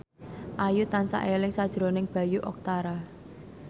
Ayu tansah eling sakjroning Bayu Octara